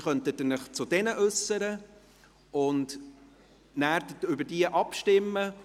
Dann können Sie sich zu diesen äussern und anschliessend über diese abstimmen.